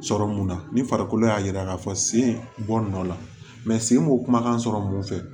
Sɔrɔ mun na ni farikolo y'a yira k'a fɔ sen bɔ nɔ la sen m'o kumakan sɔrɔ mun fɛ